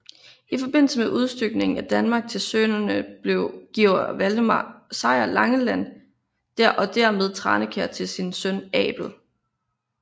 I forbindelse med udstykningen af Danmark til sønnerne giver Valdemar Sejr Langeland og dermed Tranekær til sin søn Abel